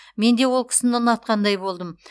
менде ол кісіні ұнатқандай болдым